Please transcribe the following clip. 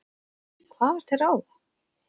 Hvað var til ráða?